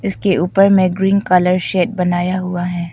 इसके ऊपर में ग्रीन कलर शेड बनाया हुआ है।